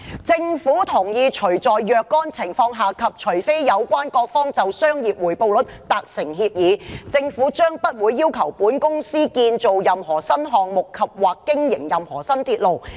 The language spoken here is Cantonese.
政府同意除在若干情況下及除非有關各方就商業回報率達成協議，政府將不會要求本公司建造任何新項目及/或經營任何新鐵路。